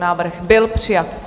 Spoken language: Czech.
Návrh byl přijat.